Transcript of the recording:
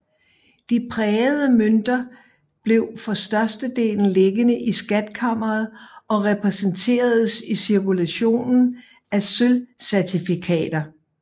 De prægede mønter blev for størstedelen liggende i skatkammeret og repræsenteredes i cirkulationen af sølvcertifikater